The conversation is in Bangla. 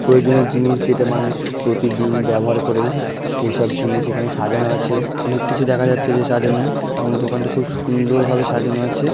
প্রয়োজনের জিনিস যেটা মানুষ প্রতিদিন ব্যবহার করে সেসব জিনিস এখানে সাজানো আছে। অনেক কিছু দেখা যাচ্ছে যে সে সাজানো এবং দোকানটা খুব সুন্দরভাবে সাজানো আছে।